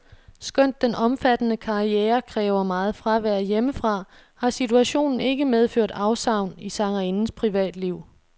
Skønt den omfattende karriere kræver meget fravær hjemmefra, har situationen ikke medført afsavn i sangerindens privatliv.